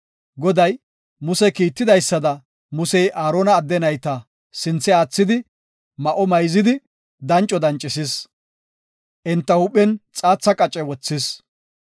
Goday Muse kiittidaysada Musey Aarona adde nayta sinthe aathidi ma7o mayzidi danco dancisis. Enta huuphen xaatha qace wothis.